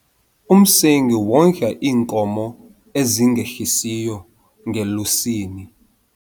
Umsengi wondla iinkomo ezingehlisiyo ngelusini.